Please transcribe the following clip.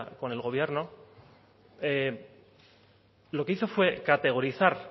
con el gobierno lo que hizo fue categorizar